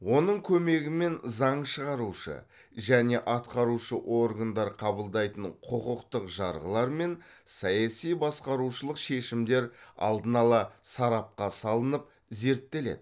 оның көмегімен заң шығарушы және атқарушы органдар қабылдайтын құқықтық жарғылар мен саяси басқарушылық шешімдер алдын ала сарапқа салынып зерттеледі